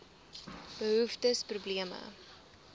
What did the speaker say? behoeftes probleme